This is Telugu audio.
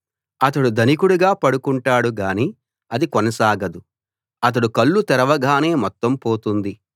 అతడు ధనికుడుగా పడుకుంటాడు గానీ అది కొనసాగదు అతడు కళ్ళు తెరవగానే మొత్తం పోతుంది